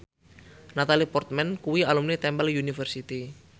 Natalie Portman kuwi alumni Temple University